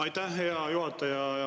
Aitäh, hea juhataja!